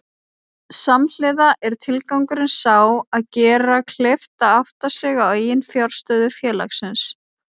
Samhliða er tilgangurinn sá að gera kleift að átta sig á eiginfjárstöðu félagsins.